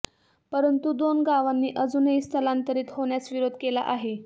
परंतु दोन गावांनी अजूनही स्थलांतरीत होण्यास विरोध केला आहे